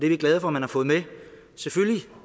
vi glade for at man har fået med